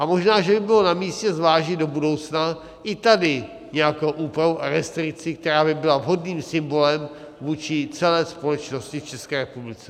A možná, že by bylo namístě zvážit do budoucna i tady nějakou úpravu a restrikci, která by byla vhodným symbolem vůči celé společnosti v České republice.